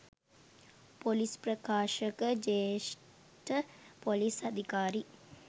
police ප්‍රකාශක ජ්‍යෙෂ්ඨ පොලිස් අධිකාරී